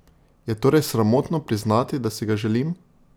Je torej sramotno priznati, da si ga želim?